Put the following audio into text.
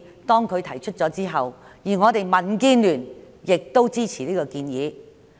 當他提出這項建議後，民建聯也予以支持。